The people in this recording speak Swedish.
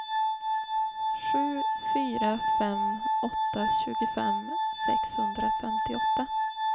sju fyra fem åtta tjugofem sexhundrafemtioåtta